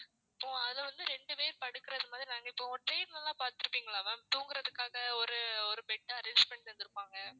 இப்போ அதுல வந்து ரெண்டு பேர் படுக்குறது மாதிரி train ல எல்லாம் பாத்துருப்பீங்களா ma'am தூங்குறதுக்காக ஒரு ஒரு bed arrange பண்ணி தந்துருப்பாங்க.